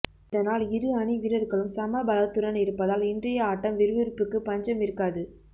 இதனால் இரு அணி வீரர்களும் சம பலத்துடன் இருப்பதால் இன்றைய ஆட்டம் விறுவிறுப்புக்கு பஞ்சம் இருக்காது